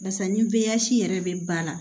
Barisa ni byasi yɛrɛ bɛ ba la